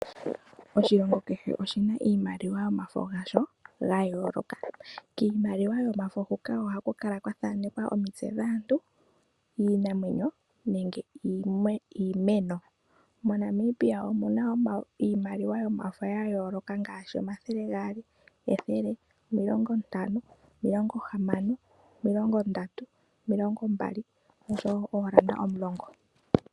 Oshilongo kehe oshina iimaliwa yomafo gasho ga yooloka. Kiimaliwa yomafo huka ohaku kala kwa thanekwa omitse dhaantu, iinamwenyo nenge iimeno. MoNamibia omuna iimaliwa yomafo ya yooloka ngaashi omathele gaali, ethele, omilongo ntano, omilongo hamano, omilongo ndatu, omilongo mbali noshowo oondola omulongo.